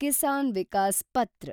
ಕಿಸಾನ್ ವಿಕಾಸ್ ಪತ್ರ